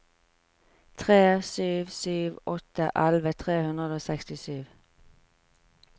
tre sju sju åtte elleve tre hundre og sekstisju